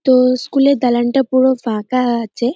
তো-ও school -এর দালানটা পুরো ফাঁকা আছে।